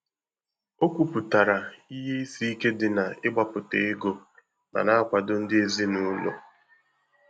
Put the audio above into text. O kwuputara ihe isi ike dị n'ịgbapụta ego ma na-akwado ndị ezi na ụlọ.